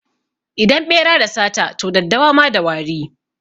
Idan ɓera da sata, to daddawa ma da wari.